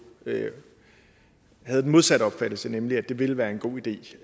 havde den modsatte opfattelse nemlig at det vil være en god idé